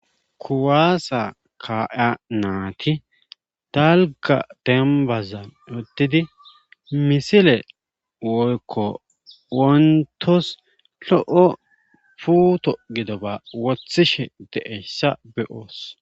kuwaasa ka7ya naati dalga dembazan wotidi misile woykko wontos lo7o puuto gidoba wothishe de7essa be7oos